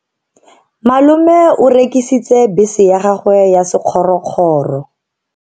Malome o rekisitse bese ya gagwe ya sekgorokgoro.